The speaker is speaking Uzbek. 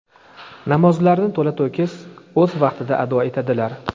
Namozlarini to‘la-to‘kis o‘z vaqtida ado etadilar.